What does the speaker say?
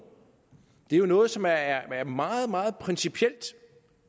det er jo noget som er meget meget principielt